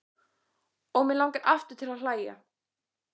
Og mig langar aftur til að hlæja.